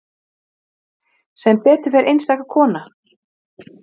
Valka, hvað er á dagatalinu mínu í dag?